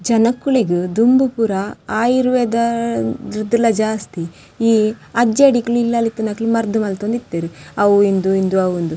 ಜನಕುಲೆಗ್ ದುಂಬು ಪೂರ ಆಯುರ್ವೇದ ಡ್ಲ ಜಾಸ್ತಿ ಈ ಅಜ್ಜಡಿಕುಲು ಇಲ್ಲಾಲ್ ಇತ್ತಿನಕುಲು ಮರ್ದ್ ಮಂತೊಂದಿತ್ತೆರ್ ಅವು ಇಂದ್ ಇಂದ್ ಅವು ಇಂದ್.